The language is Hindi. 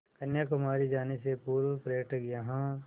कन्याकुमारी जाने से पूर्व पर्यटक यहाँ